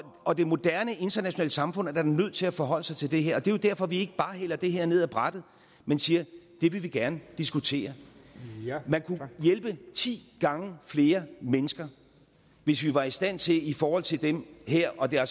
og det moderne internationale samfund er da nødt til at forholde sig til det her og det er jo derfor vi ikke bare hælder det her ned af brættet men siger at det vil vi gerne diskutere man kunne hjælpe ti gange flere mennesker hvis vi var i stand til i forhold til dem her og det er